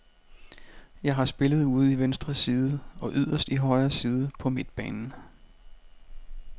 Jeg har spillet ude i venstre side og yderst i højre side på midtbanen.